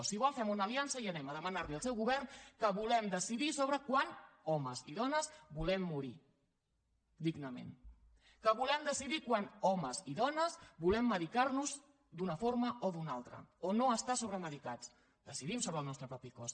si ho vol fem una aliança i anem a demanar li al seu govern que volem decidir sobre quan homes i dones volem morir dignament que volem decidir quan homes i dones volem medicar nos d’una forma o d’una altra o no estar sobremedicats decidim sobre el nostre propi cos